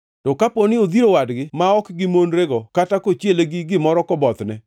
“ ‘To kaponi odhiro wadgi ma ok gimonrego kata kochiele gi gimoro kobothne